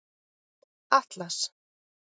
Atlas